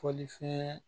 Fɔlifɛn